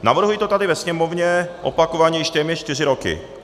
Navrhuji to tady ve sněmovně opakovaně již téměř čtyři roky.